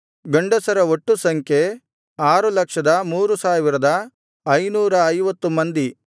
ಗಂಡಸರ ಒಟ್ಟು ಸಂಖ್ಯೆ 603550 ಮಂದಿ